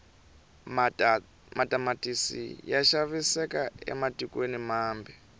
matamatisi ya xaviseka ematikweni mambe